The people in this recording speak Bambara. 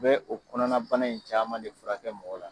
Bɛɛ o kɔnɔna bana in caaman de furakɛ mɔgɔ la.